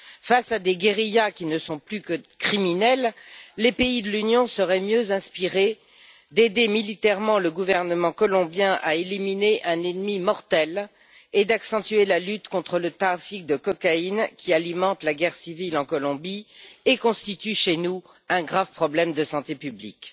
Face à des guérillas qui ne sont plus que criminelles, les pays de l'Union seraient mieux inspirés d'aider militairement le gouvernement colombien à éliminer un ennemi mortel et d'accentuer la lutte contre le trafic de cocaïne qui alimente la guerre civile en Colombie et constitue chez nous un grave problème de santé publique.